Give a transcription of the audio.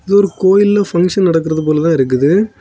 இது ஒரு கோயில்ல ஃபங்க்ஷன் நடக்கிறது போல தான் இருக்குது.